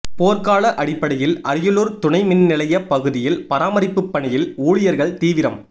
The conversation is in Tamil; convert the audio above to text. போர்க்கால அடிப்படையில் அரியலூர் துணை மின்நிலைய பகுதியில் பராமரிப்பு பணியில் ஊழியர்கள் தீவிரம்